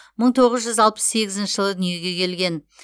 мың тоғыз жүз алпыс сегізінші жылы дүниеге келген